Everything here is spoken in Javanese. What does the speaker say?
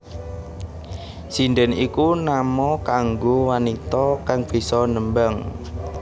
Sindhèn iku nama kanggo wanita kang bisa nembang